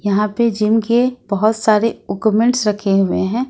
यहां पे जिम के बहुत सारे उक्मेन्ट्स रखे हुए हैं।